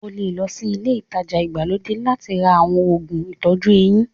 O lè lọ sí ilé-ìtajà ìgbàlódé láti ra àwọn òògùn ìtọ́jú eyín.